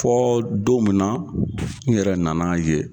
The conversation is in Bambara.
Fɔɔ don min na n yɛrɛ nana ye